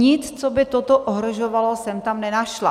Nic, co by toto ohrožovalo, jsem tam nenašla.